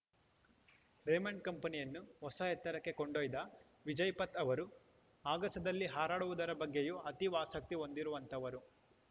Raymond ಕಂಪನಿಯನ್ನು ಹೊಸ ಎತ್ತರಕ್ಕೆ ಕೊಂಡೊಯ್ದ ವಿಜಯಪಥ್‌ ಅವರು ಆಗಸದಲ್ಲಿ ಹಾರಾಡುವುದರ ಬಗ್ಗೆಯೂ ಅತೀವ ಆಸಕ್ತಿ ಹೊಂದಿರುವಂಥವರು